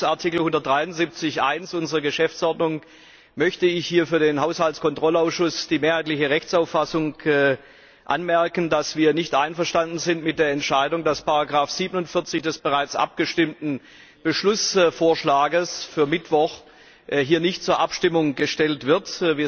Gemäß Artikel 173 Absatz 1 unserer Geschäftsordnung möchte ich hier für den Haushaltskontrollausschuss die mehrheitliche Rechtsauffassung anmerken, dass wir nicht einverstanden sind mit der Entscheidung, dass Ziffer 47 des bereits abgestimmten Beschlussvorschlags für Mittwoch hier nicht zur Abstimmung gestellt wird.